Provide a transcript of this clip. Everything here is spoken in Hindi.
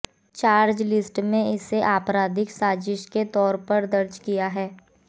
चार्जशीट में इसे आपराधिक साजिश के तौर पर दर्ज किया गया है